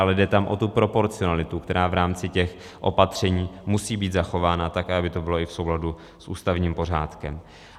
Ale jde tam o tu proporcionalitu, která v rámci těch opatření musí být zachována tak, aby to bylo i v souladu s ústavním pořádkem.